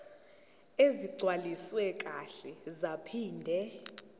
ezigcwaliswe kahle zaphinde